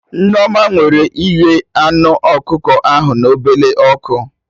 Nneoma nwere ike ighe anụ ọkụkọ ahụ na ọbele ọkụ